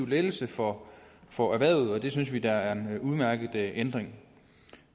lettelse for for erhvervet og det synes vi da er en udmærket ændring